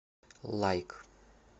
лайк